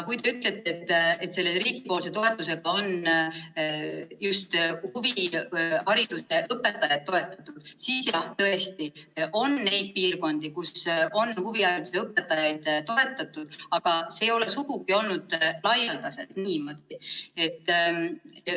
Kui te ütlete, et selle riigi toetusega on just huvihariduse õpetajaid toetatud, siis tõesti on neid piirkondi, kus on ka huvihariduse õpetajaid toetatud, aga see ei ole sugugi olnud laialdaselt niimoodi.